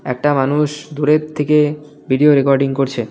একটা মানুষ দূরের থেকে ভিডিও রেকর্ডিং করছে।